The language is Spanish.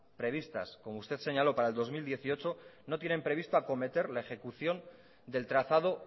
prevista como usted señaló para el dos mil dieciocho no tienen previsto acometer la ejecución del trazado